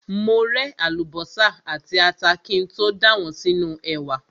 Mo ré àlùbọ́sà àti ata kí n tó dà wọ́n sínú ẹ̀wà.